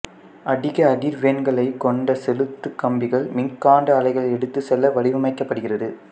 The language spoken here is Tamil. அதிக அதிர்வெண்களைக் கொண்ட செலுத்து கம்பிகள் மின்காந்த அலைகளை எடுத்துச் செல்ல வடிவமைக்கபடுகிறது